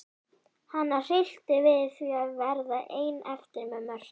Hana hryllti við því að verða ein eftir með Mörtu.